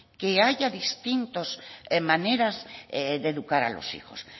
que haya distintas maneras de educar a los hijos